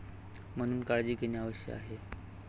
म्हणून काळजी घेणे आवश्यक आहे.